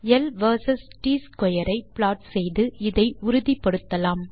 ல் வெர்சஸ் ட் ஸ்க்வேர் ஐ ப்ளாட் செய்து இதை உறுதிபடுத்தலாம்